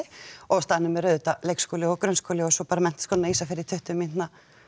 á staðnum er auðvitað leikskóli og grunnskóli og svo bara Menntaskólinn á Ísafirði í tuttugu mínútna